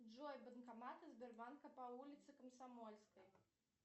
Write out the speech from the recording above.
джой банкоматы сбербанка по улице комсомольской